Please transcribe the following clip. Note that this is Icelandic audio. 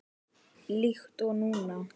Líkt og núna.